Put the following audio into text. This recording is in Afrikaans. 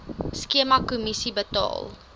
skema kommissie betaal